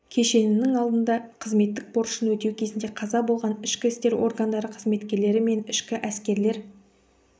кешенінің алдында қызметтік борышын өтеу кезінде қаза болған ішкі істер органдары қызметкерлері мен ішкі әскерлер